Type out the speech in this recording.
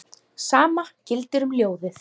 Sama gildir um ljóðið.